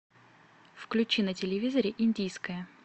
включи на телевизоре индийское